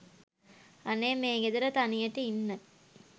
අනේ මේ ගෙදර තනියට ඉන්න